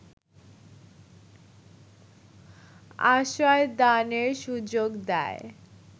আশ্রয়দানের সুযোগ দেয়